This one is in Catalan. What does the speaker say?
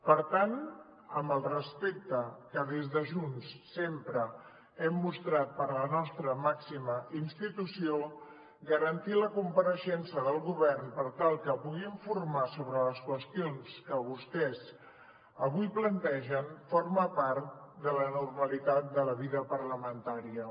per tant amb el respecte que des de junts sempre hem mostrat per la nostra màxima institució garantir la compareixença del govern per tal que pugui informar sobre les qüestions que vostès avui plantegen forma part de la normalitat de la vida parlamentària